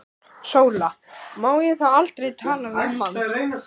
SÓLA: Má ég þá aldrei tala við mann?